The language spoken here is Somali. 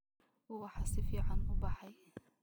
Uwaxa sificn uu baxey.